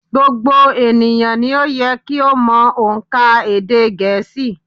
Gbogbo ènìyàn ni ó yẹ kí ó mọ ònkà èdè gẹ̀ẹ́sì